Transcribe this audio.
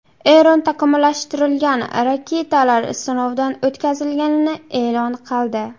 Eron takomillashtirilgan raketalar sinovdan o‘tkazilganini e’lon qildi.